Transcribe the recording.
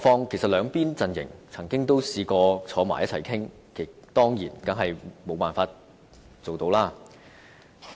其實，兩邊陣營也曾嘗試一起討論，但是無法成事。